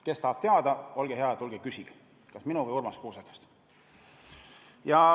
Kes tahab teada, olge hea, tulge ja küsige kas minu või Urmas Kruuse käest.